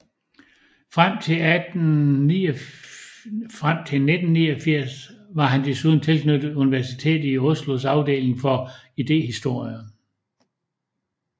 Frem til 1989 var han desuden tilknyttet Universitetet i Oslos afdeling for idéhistorie